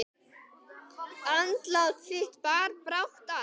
Andlát þitt bar brátt að.